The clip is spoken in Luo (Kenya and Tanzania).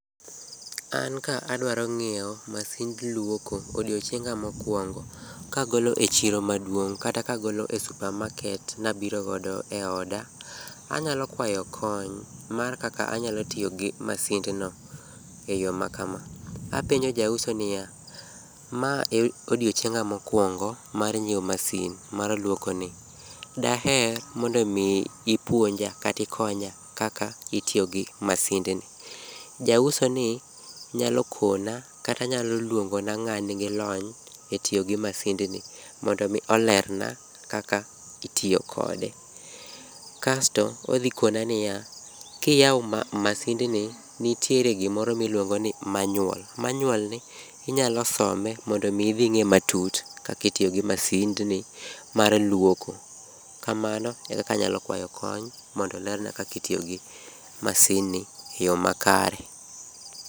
An ka adwaro ng'iewo masind luoko odiochienga mokwango ka agolo e chiro maduong', kata kagolo e supermarket nabirgodo eoda. Anyalo kwayo kony mar kaka anyalo tiyo gi masindno eyo makama. Apenjo jauso niya, ma e odiochienga mokwongo mar nyiewo masin mar luok ni, daher mondo mi ipuonja katikonya kaka itiyogi masindni. Jausoni nyalo puonja kata nyalo luongona ng'aa nigi lony e tiyo gi masindni mondo mi olerna kaka itiyo kode. Kasto, odhi kona niya, kiyawo masindni, nitiere gimoro miluongo ni manyuol. Manyuolni inyalo some mondo omi idhi ing'e matut kakitiyo gi masindni mar luoko. Kamano ekaka anyalo kwayo kony mondo olerna kakitiyo gi masindni e yo makare.